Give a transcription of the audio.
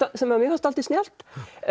sem mér fannst dálítið snjallt